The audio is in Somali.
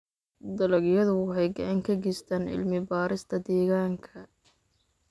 Dalagyadu waxay gacan ka geystaan ??cilmi-baarista deegaanka.